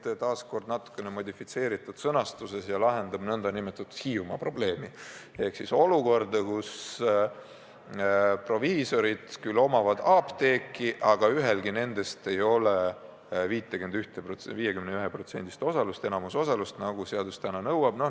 See on taas natukene modifitseeritud sõnastuses ja lahendab nn Hiiumaa probleemi ehk siis olukorra, kus proviisorid omavad küll apteeki, aga ühelgi nendest ei ole vähemalt 51%-list osalust ehk enamusosalust, nagu seadus nõuab.